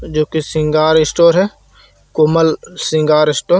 जो कि श्रृंगार स्टोर है कोमल श्रृंगार स्टोर ।